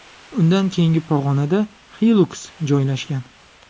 Undan keyingi pog‘onada Hilux joylashgan.